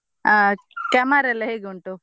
ಆಹ್ camera ಎಲ್ಲಾ ಹೇಗುಂಟು?